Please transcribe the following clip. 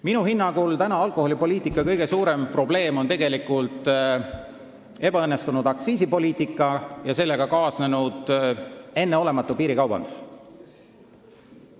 Minu hinnangul on praegu alkoholipoliitika kõige suurem probleem ebaõnnestunud aktsiisipoliitika ja sellega kaasnenud enneolematu piirikaubandus.